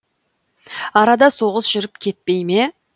арада соғыс жүріп кетпей ме